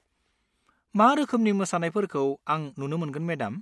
मा रोखोमनि मोसानायफोरखौ आं नुनो मोनगोन मेडाम?